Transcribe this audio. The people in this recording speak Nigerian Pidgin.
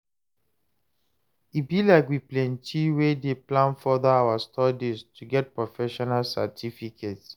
e be like we plenty wey dey plan further our studies to get professional certificate